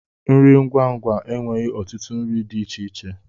Nri ngwa ngwa aweghi otutu nri di ichie ichie.